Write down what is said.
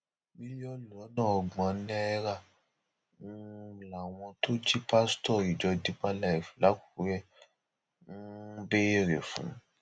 mílíọnù lọnà ọgbọn náírà um làwọn tó jí pásítọ ìjọ deeper life làkúrẹ um ń béèrè fún